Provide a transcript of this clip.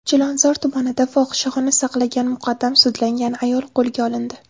Chilonzor tumanida fohishaxona saqlagan muqaddam sudlangan ayol qo‘lga olindi.